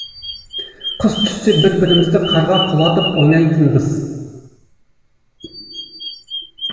қыс түссе бір бірімізді қарға құлатып ойнайтынбыз